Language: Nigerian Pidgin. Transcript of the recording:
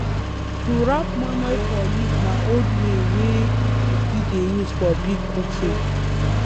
to wrap moimoi for leaf na old way wey people still dey use for big cooking